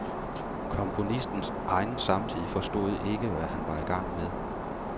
Komponistens egen samtid forstod ikke, hvad han var i gang med.